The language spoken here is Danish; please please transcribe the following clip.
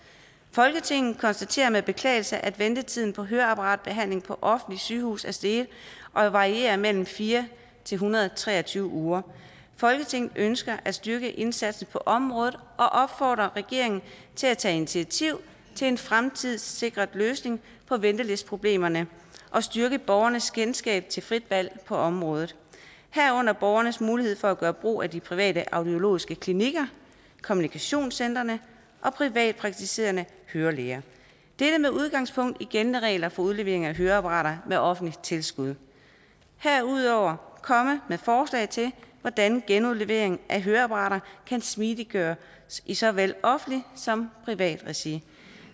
folketinget konstaterer med beklagelse at ventetiden på høreapparatbehandling på offentligt sygehus er steget og varierer mellem fire en hundrede og tre og tyve uger folketinget ønsker at styrke indsatsen på området og opfordrer regeringen til at tage initiativ til en fremtidssikret løsning på ventelisteproblemerne og styrke borgernes kendskab til frit valg på området herunder borgernes mulighed for at gøre brug af de private audiologiske klinikker kommunikationscentrene og privatpraktiserende hørelæger dette med udgangspunkt i gældende regler for udlevering af høreapparater med offentligt tilskud herudover komme med forslag til hvordan genudlevering af høreapparater kan smidigøres i såvel offentligt som privat regi